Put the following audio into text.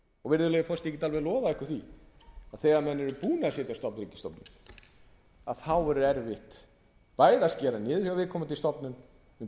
virðulegi forseti ég get alveg lofað ykkur því að þegar menn eru búnir að setja á fót ríkisstofnun verður erfitt bæði að skera niður hjá viðkomandi stofnun og ég tala ekki um